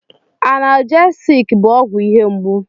Analjesik bụ ọgwụ ihe mgbu.